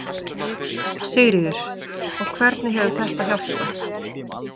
Sigríður: Og hvernig hefur þetta hjálpað?